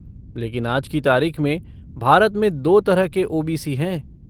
लेकिन आज की तारीख में भारत में दो तरह के ओ.बी.सी. हैं।